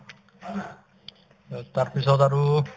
এই ,তাৰপিছত আৰু